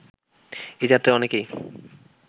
এ যাত্রায় অনেকেই